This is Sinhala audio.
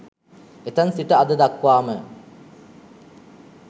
එතැන් සිට අද දක්වාම